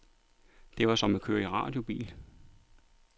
Det var som at køre i radiobil.